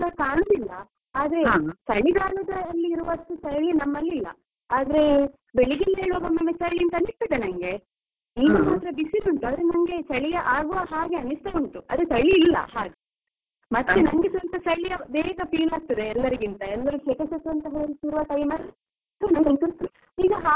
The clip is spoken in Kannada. ಚಳಿಗಾಲದಲ್ಲಿರುವಷ್ಟು ಚಳಿ ನಮ್ಮಲ್ಲಿಲ್ಲ, ಆದ್ರೆ ಬೆಳಿಗ್ಗೆ ಎಲ್ಲ ಏಳುವಾಗ ಒಮ್ಮೊಮ್ಮೆ ಚಳಿ ಅಂತ ಅನಿಸುತ್ತದೆ ನಂಗೆ. ಈಗ ಮಾತ್ರ ಬಿಸಿಲು ಉಂಟು, ಆದ್ರೆ ನಂಗೆ ಚಳಿ ಆಗುವ ಹಾಗೆ ಅನಿಸ್ತಾ ಉಂಟು, ಆದ್ರೆ ಚಳಿ ಇಲ್ಲ ಹಾಗೆ. ಮತ್ತೆ ನಂಗೆ ಸ್ವಲ್ಪ ಚಳಿ ಬೇಗ feel ಆಗ್ತದೆ ಎಲ್ಲರಿಗಿಂತ, ಎಲ್ಲರೂ ಸೆಕೆ ಶಕೆ ಅಂತ ಹೇಳ್ತಿರುವ time ಅಲ್ಲಿ ನನಗಂತೂ ಈಗ ಹಾಗೆ ಆಗಿರ್ ಬೋದು.